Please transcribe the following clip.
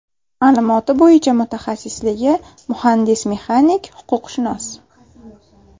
Ma’lumoti bo‘yicha mutaxassisligi muhandis-mexanik, huquqshunos.